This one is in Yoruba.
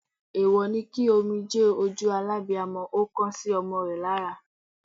Èwọ̀ ni kí omijé ojú alábiamo ó kan sómo rè lára